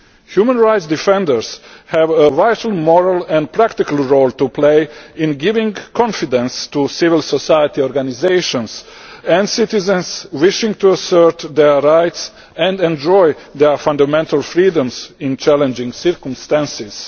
Human rights defenders have a vital moral and practical role to play in giving confidence to civil society organisations and to citizens wishing to assert their rights and enjoy their fundamental freedoms in challenging circumstances.